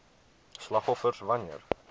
slagoffers wan neer